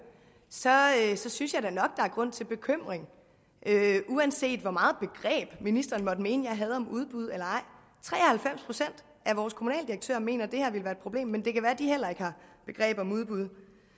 så synes jeg da nok der er grund til bekymring uanset hvor meget begreb ministeren måtte mene jeg har om udbud eller ej tre og halvfems procent af vores kommunaldirektører mener at det her vil være et problem men det kan være at de heller ikke har begreb om udbud